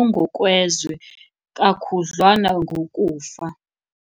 ongokwezwe kakhudlwana ngokufa.